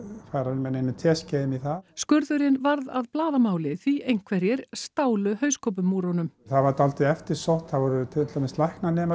fara með neinum teskeiðum í það skurðurinn varð að blaðamáli því einhverjir stálu hauskúpum úr honum það var dálítið eftirsótt það voru til dæmis læknanemar